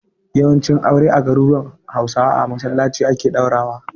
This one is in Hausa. Yawancin aure a garuruwan Hausawa a masallaci ake ɗaurawa.